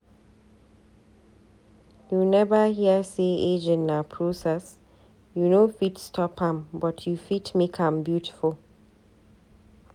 You neva hear sey aging na process, you no fit stop am but you fit make am beautiful.